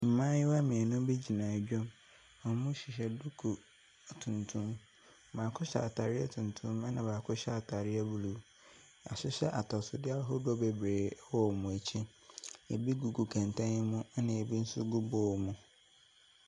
Mmayewa mmienu bi gyina edwa mu. Wɔhyehyɛ duku tuntum. Baako hyɛ ataadeɛ tuntum, na baako hyɛ ataadeɛ blue. Yɛahyehyɛ atɔsodeɛ ahodoɔ bebree wɔ wɔn ɛkyi. Ebi gugu kɛnten mu ɛna ebi nso gu bowl mu.